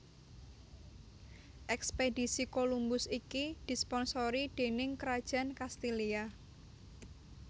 Ekspedisi Colombus iki disponsori déning kerajaan Kastilia